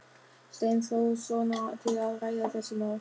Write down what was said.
Steinþórssonar til að ræða þessi mál.